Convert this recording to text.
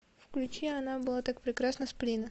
включи она была так прекрасна сплина